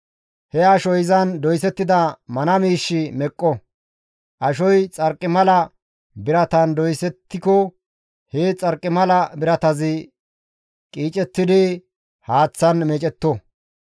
He ashoy izan doysettida mana miishshi meqqo; ashoy xarqimala biratan doysettiko he xarqimala biratazi qiicettidi haaththan meecetto.